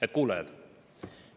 Head kuulajad!